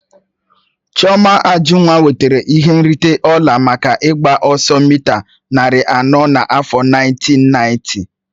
Chioma Ajunwa nwetara ihe nrite ọla maka ịgba ọsọ mịta narị anọ n'afọ nineteen ninety.